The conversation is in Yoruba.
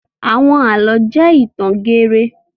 Àwọn àlọ́ jẹ́ ìtàn geere.